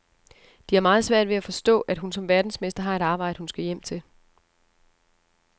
De har meget svært ved at forstå, at hun som verdensmester har et arbejde, hun skal hjem til.